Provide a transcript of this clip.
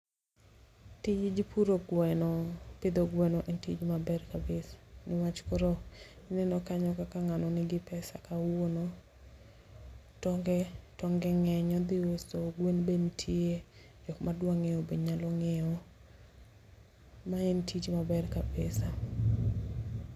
Tij puro gweno pidho gweno en tich maber kabisa. Niwach koro ineno kanyo kaka ng'ano nigi pesa kawuono. Tonge tonge ng'eny odhi uso gwen be nitie, jok madwa ng'iewo be nyalo ng'iewo. Ma en tich maber kabisa.